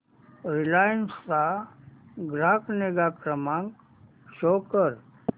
Reliance चा ग्राहक निगा क्रमांक शो कर